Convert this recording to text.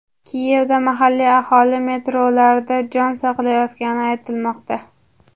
Kiyevda mahalliy aholi metrolarda jon saqlayotgani aytilmoqda.